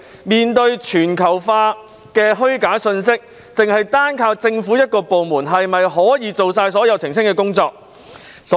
面對全球化的虛假信息，只依靠政府一個部門是否足以應付所有的澄清工作？